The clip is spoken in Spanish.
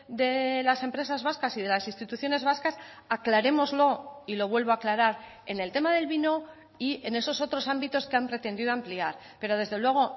de las empresas vascas y de las instituciones vascas aclarémoslo y lo vuelvo a aclarar en el tema del vino y en esos otros ámbitos que han pretendido ampliar pero desde luego